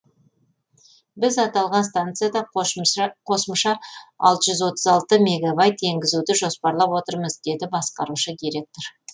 біз аталған станцияда қосымша алты жүз отыз алты мегабайт енгізуді жоспарлап отырмыз деді басқарушы директор